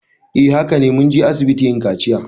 Eh hakane. Mun je asibiti yin kaciya.